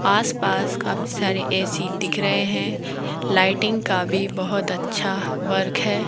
आस पास काफी सारे ए_सी दिख रहे हैं लाइटिंग का भी बहोत अच्छा वर्क है।